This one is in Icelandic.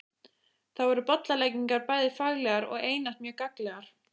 Þar voru bollaleggingar bæði faglegar og einatt mjög gagnlegar.